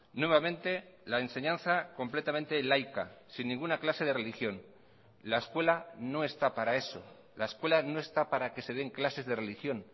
nuevamente la enseñanza completamente laica sin ninguna clase de religión la escuela no está para eso la escuela no está para que se den clases de religión